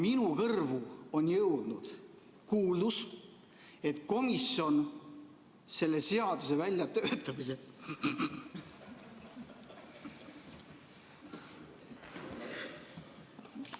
Minu kõrvu on jõudnud kuuldus, et komisjon selle seaduse väljatöötamisel ...